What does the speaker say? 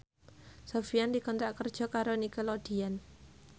Sofyan dikontrak kerja karo Nickelodeon